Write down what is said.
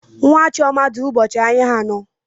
Nwa Chioma dị ụbọchị ahịa anọ.